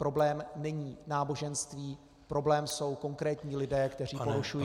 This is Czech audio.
Problém není náboženství, problém jsou konkrétní lidé, kteří porušují...